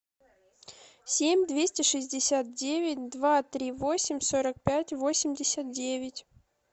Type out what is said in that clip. семь двести шестьдесят девять два три восемь сорок пять восемьдесят девять